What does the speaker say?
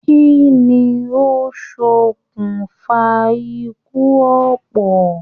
Kínní o sọkún fa ikú ọpọ?